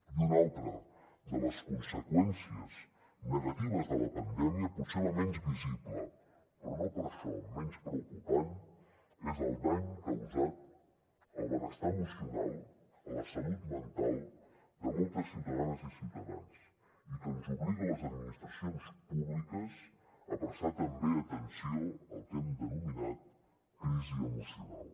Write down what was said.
i una altra de les conseqüències negatives de la pandèmia potser la menys visible però no per això menys preocupant és el dany causat al benestar emocional a la salut mental de moltes ciutadanes i ciutadans i que ens obliga a les administracions públiques a prestar també atenció al que hem denominat crisi emocional